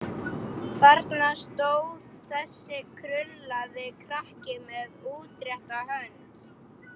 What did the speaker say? Þarna stóð þessi krullaði krakki með útrétta hönd.